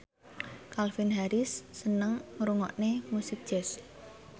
Calvin Harris seneng ngrungokne musik jazz